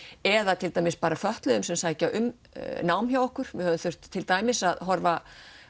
eða til dæmis bara fötluðum sem sækja um nám hjá okkur við höfum þurft til dæmis að horfa